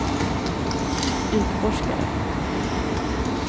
utforskare